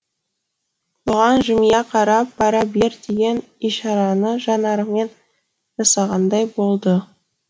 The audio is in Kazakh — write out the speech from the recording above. бұған жымия қарап бара бер деген ишараны жанарымен жасағандай болды